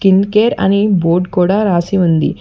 Skin care అని board కూడా రాసి ఉంది.